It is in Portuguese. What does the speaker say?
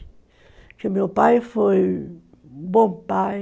Porque meu pai foi um bom pai,